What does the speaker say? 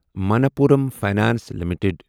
Manappuram Finance limited